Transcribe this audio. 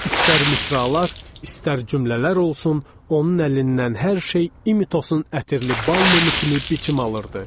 İstər misralar, istər cümlələr olsun, onun əlindən hər şey İmitosun ətirli bal mumu kimi biçim alırdı.